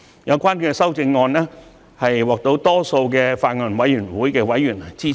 有關的修正案獲法案委員會大多數委員支持。